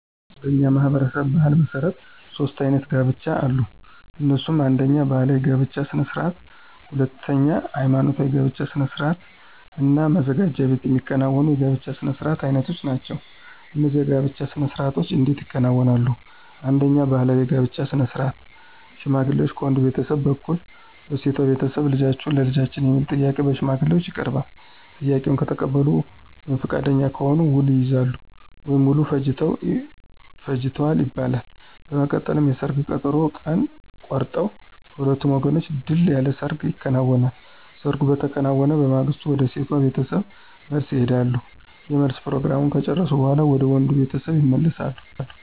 በእኛ ማህበረሰብ ባሕል መሠረት ሦስት አይነት የጋብቻ አሉ። እነሱም አነደኛ ባህላዊ የጋብቻ ስነ ስርዓት፣ ሁለተኛ ሐይማኖታዊ የጋብቻ ስነ ስርዓት እና መዘጋጃ ቤት የሚከናወኑ የጋብቻ ስነ ስርዓት አይነቶች ናቸው። እነዚህ የጋብቻ ስነ ስርዓቶች እንዴት ይከናወናሉ፣ አንደኛው ባህላዊ የጋብቻ ስነ ስርዓት ሽማግሌ ከወንድ ቤተሰብ በኩል ለሴቷ ቤተሰብ ልጃችሁን ለልጃችን የሚል ጥያቄ በሽማግሌዎች ይቀርባል፤ ጥያቄውን ከተቀበሉ ወይም ፈቃደኛ ከሆኑ ውል ይይዛሉ ወይም ውል ፈጅተዋል ይባላል። በመቀጠልም የሰርግ ቀጠሮ ቀን ይቆረጥና በሁለቱም ወገኖች ድል ያለ ሰርግ ይከናወናል። ሰርጉ በተከናወነ በማግስቱ ወደ ሴቷ ቤተሰብ መልስ ይሄዳሉ የመልስ ፕሮግራሙን ከጨረሱ በኋላ ወደ ወንዱ ቤተሰብ ይመለሳሉ።